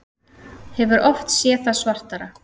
Hefur oft séð það svartara